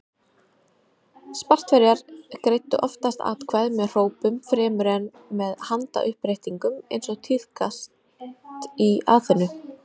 Spartverjar greiddu oftast atkvæði með hrópum fremur en með handauppréttingum eins og tíðkaðist í Aþenu.